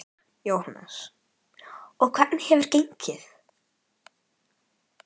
Jóhannes: Og hvernig hefur gengið?